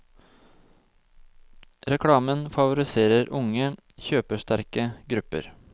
Reklamen favoriserer unge, kjøpesterke grupper.